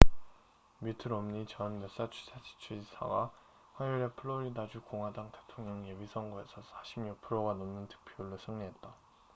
미트 롬니 전 매사추세츠 주지사가 화요일에 플로리다주 공화당 대통령 예비선거에서 46%가 넘는 득표율로 승리했다